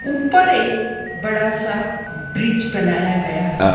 ऊपर एक बड़ा सा ब्रिज बनाया गया है।